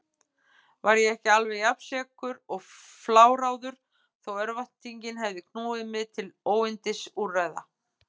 Var ég ekki alveg jafnsekur og fláráður þó örvæntingin hefði knúið mig til óyndisúrræða?